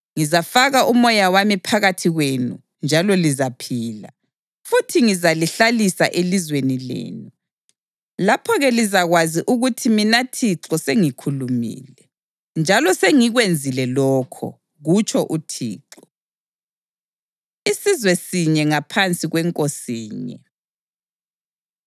Ngizafaka uMoya wami phakathi kwenu njalo lizaphila, futhi ngizalihlalisa elizweni lenu. Lapho-ke lizakwazi ukuthi mina Thixo sengikhulumile, njalo sengikwenzile lokho, kutsho uThixo.’ ” Isizwe Sinye Ngaphansi KweNkosinye